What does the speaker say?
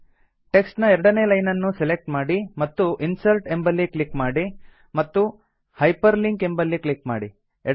text ನ ಎರಡನೇ line ಅನ್ನು ಸೆಲೆಕ್ಟ್ ಮಾಡಿ ಮತ್ತು ಇನ್ಸರ್ಟ್ ಎಂಬಲ್ಲಿ ಕ್ಲಿಕ್ ಮಾಡಿ ಮತ್ತು ಹೈಪರ್ಲಿಂಕ್ ಎಂಬಲ್ಲಿ ಕ್ಲಿಕ್ ಮಾಡಿ